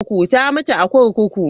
Ta mutu a kurkuku.